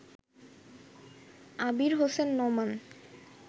Abir Hossain Noman